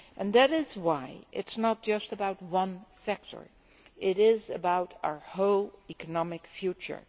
That is why it is not just about one sector it is about our whole economic future.